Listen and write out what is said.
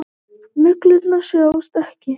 Neglurnar sjást ekki.